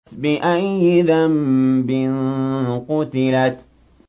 بِأَيِّ ذَنبٍ قُتِلَتْ